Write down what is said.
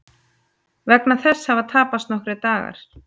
Vegna þess hafa tapast nokkrir dagar